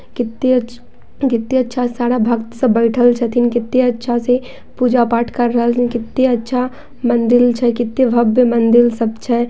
कितने अच्छे कितना अच्छा सारा भक्ति सब बैठल छथीन कते अच्छा से पूजा पाठ कर रहल छथीन कते अच्छा मंदिर छै कते भव्य मंदिर सब छै।